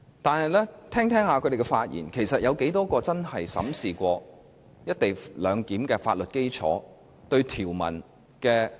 但是，聽過他們的發言後，便會懷疑當中有多少人真正審視過"一地兩檢"的法律基礎。